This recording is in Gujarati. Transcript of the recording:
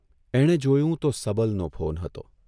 એણે જોયું તો સબલનો ફોન હતો.